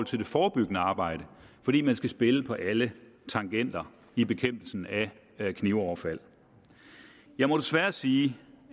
til det forebyggende arbejde fordi man skal spille på alle tangenter i bekæmpelsen af knivoverfald jeg må desværre sige